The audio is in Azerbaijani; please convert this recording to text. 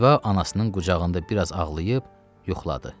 Ziba anasının qucağında biraz ağlayıb, yuxladı.